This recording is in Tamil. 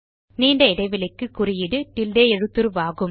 நீண்ட இடைவெளிக்கு குறியீடு டில்டே எழுத்துருவாகும்